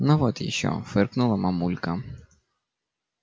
ну вот ещё фыркнула мамулька